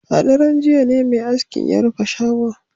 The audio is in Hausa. A daren jiya ne mai askin ya rufe shagon